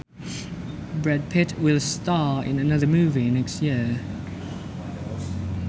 Brad Pitt will star in another movie next year